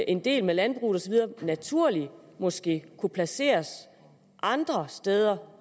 en del med landbrug osv naturligt måske kunne placeres andre steder